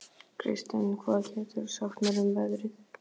Kirsten, hvað geturðu sagt mér um veðrið?